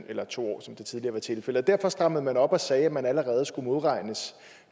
eller i to år som det tidligere var tilfældet derfor strammede man op og sagde at man allerede skulle modregnes